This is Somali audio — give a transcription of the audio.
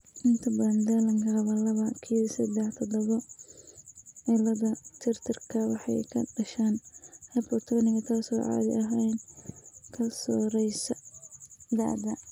Inta badan dhallaanka qaba laba q sedex todoba cilladda tirtirka waxay ku dhashaan hypotoniga, taas oo caadi ahaan ka soo raysa da'da.